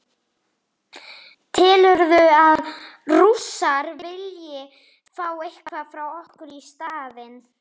Telurðu að Rússar vilji fá eitthvað frá okkur í staðinn?